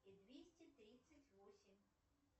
и двести тридцать восемь